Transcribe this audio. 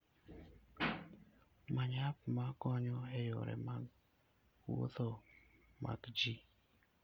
Many app ma konyo e yore mag wuoth mag ji.